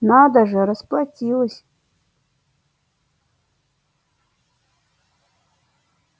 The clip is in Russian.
надо же расплатилась